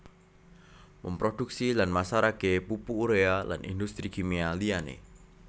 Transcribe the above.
Memproduksi lan masarake pupuk urea lan industri kimia liyane